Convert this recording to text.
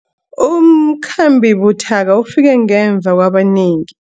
Umkhambi buthaka ufike ngemva kwabanengi.